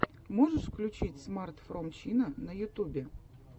можешь включить смарт фром чина на ютубе